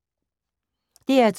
DR2